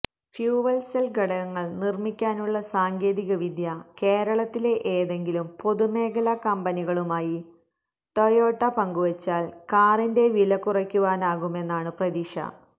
fuel cell ഘടകങ്ങൾ നിർമിക്കാനുള്ള സാങ്കേതികവിദ്യ കേരളത്തിലെ ഏതെങ്കിലും പൊതുമേഖല കമ്പനികളുമായി ടൊയോട്ട പങ്കുവച്ചാൽ കാറിന്റെ വില കുറയ്ക്കാനാകുമെന്നാണു പ്രതീക്ഷ